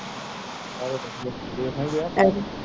ਸਾਰੇ ਵਧਿਆ